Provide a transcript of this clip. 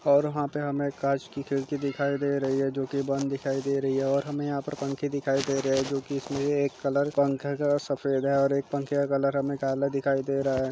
और वहाँ पर हमें एक कांच की खिड़की दिखाई दे रही है जो कि बंद दिखाई दे रही है और हमें यहाँ पर पंखे दिखाई दे रहे हैं जो की एक कलर पंखे का सफेद है और एक पंखे का कलर हमें काला दिखाई दे रहा है।